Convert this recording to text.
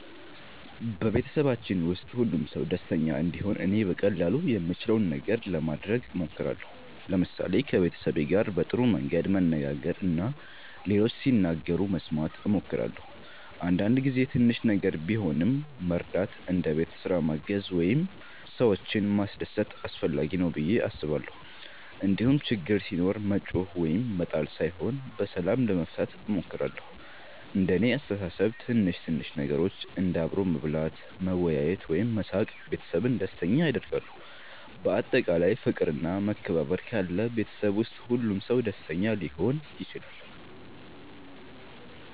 በቤተሰባችን ውስጥ ሁሉም ሰው ደስተኛ እንዲሆን እኔ በቀላሉ የምችለውን ነገር ለማድረግ እሞክራለሁ። ለምሳሌ ከቤተሰቤ ጋር በጥሩ መንገድ መነጋገር እና ሌሎች ሲናገሩ መስማት እሞክራለሁ። አንዳንድ ጊዜ ትንሽ ነገር ቢሆንም መርዳት እንደ ቤት ስራ ማገዝ ወይም ሰዎችን ማስደሰት አስፈላጊ ነው ብዬ አስባለሁ። እንዲሁም ችግር ሲኖር መጮኽ ወይም መጣል ሳይሆን በሰላም ለመፍታት እሞክራለሁ። እንደ እኔ አስተሳሰብ ትንሽ ትንሽ ነገሮች እንደ አብሮ መብላት፣ መወያየት ወይም መሳቅ ቤተሰብን ደስተኛ ያደርጋሉ። በአጠቃላይ ፍቅር እና መከባበር ካለ ቤተሰብ ውስጥ ሁሉም ሰው ደስተኛ ሊሆን ይችላል።